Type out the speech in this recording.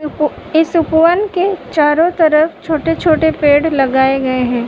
उ-पू इस उपवन के चारो तरफ छोटे-छोटे पेड़ लगाए गए हैं।